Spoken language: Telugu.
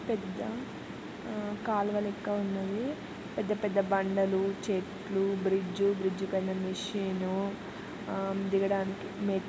పెద్ద ఆ కాల్వ లెక్క ఉన్నది. పెద్దపెద్ద బండలు చెట్లు బ్రిడ్జ్ బ్రిడ్జ్ పైన మిషన్ ఊ ఆ దిగడానిక.